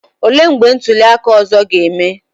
Olee mgbe ntuli aka ọzọ ga-eme?